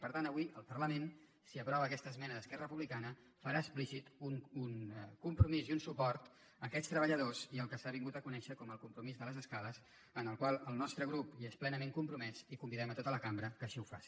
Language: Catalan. per tant avui el parlament si aprova aquesta esmena d’esquerra republicana farà explícit un compromís i un suport a aquests treballadors i al que s’ha vingut a conèixer com el compromís de les escales amb el qual el nostre grup és plenament compromès i convidem tota la cambra que així ho faci